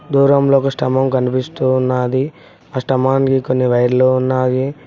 దూరంలో ఒక స్టమక్ కనిపిస్తున్నది అష్టమాంఘిక ని వైర్లు ఉన్నాయి.